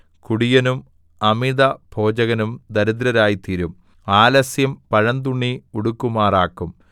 കുടിയനും അമിതഭോജകനും ദരിദ്രരായ്തീരും ആലസ്യം പഴന്തുണി ഉടുക്കുമാറാക്കും